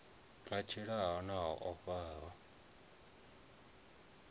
a tshilaho na o faho